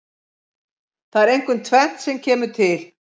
Það er einkum tvennt sem kemur til.